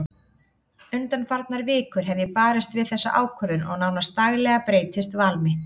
Undanfarnar vikur hef ég barist við þessa ákvörðun og nánast daglega breytist val mitt.